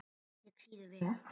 Ketill sýður vel.